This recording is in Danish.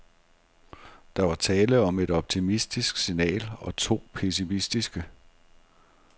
Der var tale om et optimistisk signal og to pessimistiske.